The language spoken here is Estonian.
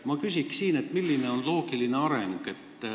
Ma küsiksin, milline on loogiline areng.